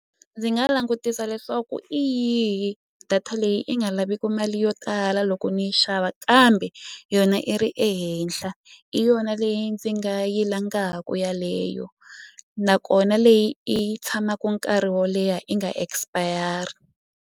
Ndzi nga langutisa leswaku i yihi data leyi i nga laviki mali yo tala loko ni yi xava kambe yona i ri ehenhla i yona leyi ndzi nga yi langaku yaleyo nakona leyi i yi tshamaku nkarhi wo leha i nga expire.